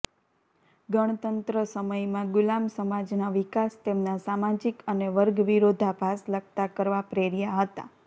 ગણતંત્ર સમયમાં ગુલામ સમાજના વિકાસ તેમના સામાજિક અને વર્ગ વિરોધાભાસ લગતાં કરવા પ્રેર્યા હતા